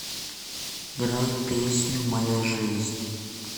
играй песню моя жизнь